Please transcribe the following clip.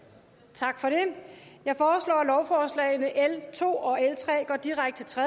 tak for det jeg foreslår at lovforslagene nummer l to og l tre går direkte til